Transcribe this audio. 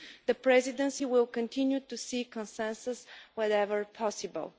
The Presidency will continue to seek consensus wherever possible.